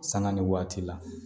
Sanga ni waati la